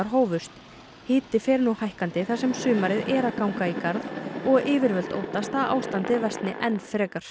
hófust hiti fer nú hækkandi þar sem sumarið er að ganga í garð og yfirvöld óttast að ástandið versni enn frekar